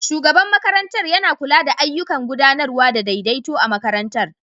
Shugaban makarantar yana kula da ayyukan gudanarwa da daidaito a makarantar